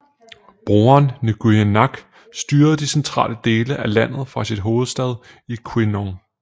Broren Nguyễn Nhạc styrede de centrale dele af landet fra sin hovedstad i Quy Nhon